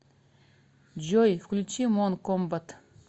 джой включи мон комбат